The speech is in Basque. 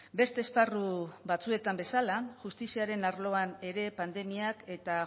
beste esparru batzuetan bezala justiziaren arloan ere pandemiak eta